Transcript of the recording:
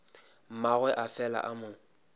mmagwe a fela a mo